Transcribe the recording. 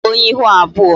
I bụ onye ihu abụọ